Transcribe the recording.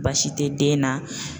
Baasi tɛ den na